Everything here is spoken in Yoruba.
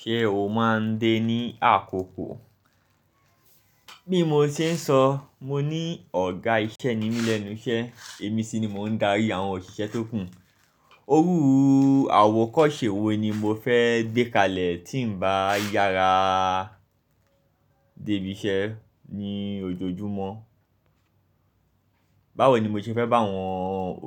Ṣé o máa ń dé ní àkókò? Bí mo ṣe ń sọ, mo ní ọ̀gá iṣẹ́ ní Mí léńnú ṣẹ́, èmi sì ni mò ń darí àwọn òṣìṣẹ́ tó kù. Orú àwọ̀kọ́ṣe wo ni mo fẹ́ dé kalẹ̀ tí ń bá yára débí iṣẹ́ ní ojoojúmọ́? Báwo ni mo ṣe fẹ́ bá àwọn